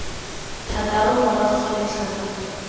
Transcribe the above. thataro morago ga letlha la